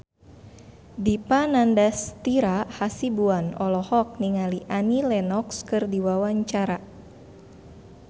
Dipa Nandastyra Hasibuan olohok ningali Annie Lenox keur diwawancara